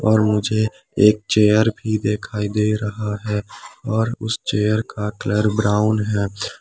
और मुझे एक चेयर भी दिखाई दे रहा है और उस चेयर का कलर ब्राऊन है।